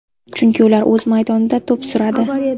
Chunki ular o‘z maydonida to‘p suradi.